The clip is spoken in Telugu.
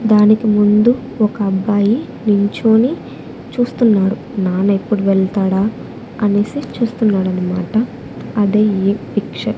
దానికి ముందు ఒక అబ్బాయి నించొని చూస్తున్నాడు నాన్న ఎప్పుడు వెళ్తాడా అనేసి చూస్తున్నాడన్నమాట అదే ఈ పిక్చర్ .